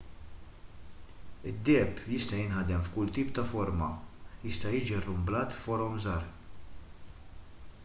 id-deheb jista' jinħadem f'kull tip ta' forma jista' jiġi rrumblat f'forom żgħar